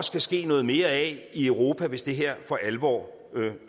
skal ske noget mere af i europa hvis det her for alvor